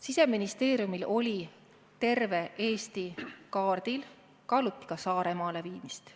Siseministeeriumil oli terve Eesti kaardil, kaaluti ka Saaremaale viimist.